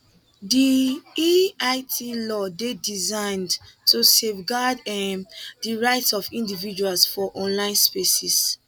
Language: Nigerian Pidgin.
di eit law dey designed to safeguard um di rights of individuals for online spaces